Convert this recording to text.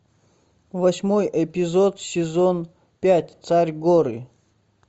восьмой эпизод сезон пять царь горы